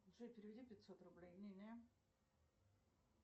джой переведи пятьсот рублей нине